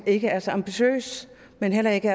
ikke er så ambitiøs og heller ikke